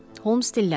Holmes dilləndi.